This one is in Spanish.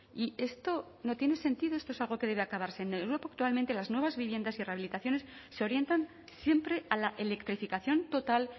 y esto no tiene sentido esto es algo que debe acabarse en europa actualmente las nuevas viviendas y rehabilitaciones se orientan siempre a la electrificación total